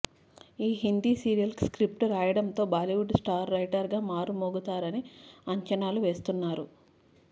ఈ హిందీ సీరియల్ కు స్క్రిప్ట్ రాయడంతో బాలీవుడ్లో స్టార్ రైటర్ గా మారుమ్రోగుతారని అంచనాలు వేస్తున్నారు